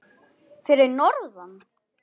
Fyrir norðan?